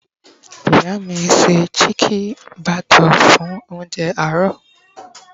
ìyá mi ṣe chike bhature fún ounjẹ àárò